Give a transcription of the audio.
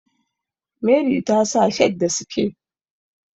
Meri ta sa shirt da sike